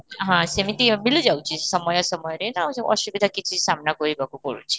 ହଁ, ସେମିତି ଭାବିଲେ ଯାଉଛି ସମୟ ସମୟରେ ନା ଯଉ ଅସୁବିଧା କିଛି ସାମ୍ନା କରିବାକୁ ପଡୁଛି?